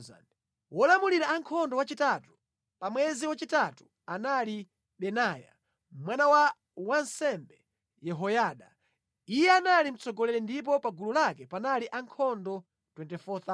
Wolamulira ankhondo wachitatu, pa mwezi wachitatu anali Benaya, mwana wa wansembe Yehoyada. Iye anali mtsogoleri ndipo pa gulu lake panali ankhondo 24,000.